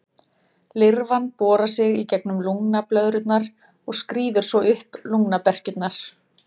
Lirfan borar sig í gegnum lungnablöðrurnar og skríður svo upp lungnaberkjurnar.